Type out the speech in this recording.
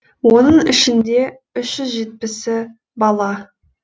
оның ішінде үш жүз жетпісі бала